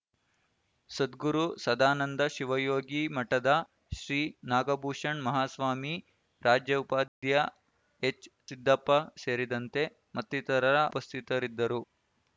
ಸದ್ಗುರು ಸದಾನಂದ ಶಿವಯೋಗಿಮಠದ ಶ್ರೀ ನಾಗಭೂಷನ್ ಮಹಾಸ್ವಾಮಿ ರಾಜ್ಯಉಪಾಧ್ಯ ಎಚ್‌ ಸಿದ್ದಪ್ಪ ಸೇರಿದಂತೆ ಮತ್ತಿತರರ ಉಪಸ್ಥಿತರಿದ್ದರು